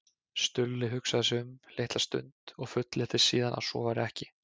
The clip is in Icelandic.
Stulli hugsaði sig um litla stund og fullyrti síðan að svo væri ekki.